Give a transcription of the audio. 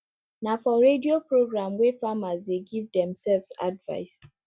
na for radio programwey farmers dey give themselves advice